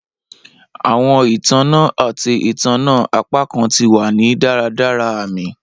Awọn itanna ati itanna apakan ti wa ni daradara aami